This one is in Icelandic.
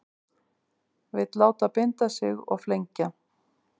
Vill láta binda sig og flengja